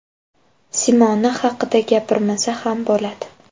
Simona haqida gapirmasa ham bo‘ladi!